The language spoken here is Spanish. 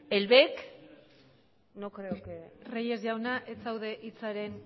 el bec no creo que reyes jauna ez zaude hitzaren